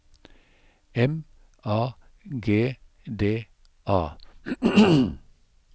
M A G D A